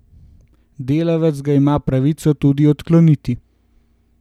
Delavec ga ima pravico tudi odkloniti.